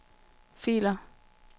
filer